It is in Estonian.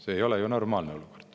See ei ole ju normaalne olukord.